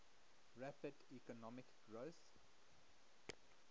rapid economic growth